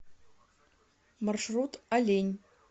маршрут олень